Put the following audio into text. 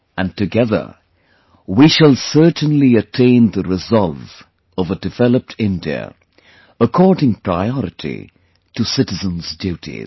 And together we shall certainly attain the resolve of a developed India, according priority to citizens' duties